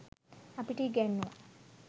අපිට ඉගැන්නූවා.